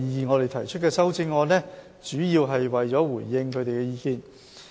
我們提出的修正案，主要是為了回應他們的意見。